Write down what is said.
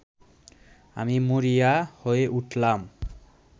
আমি মরিয়া হয়ে উঠলাম